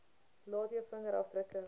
laat jou vingerafdrukke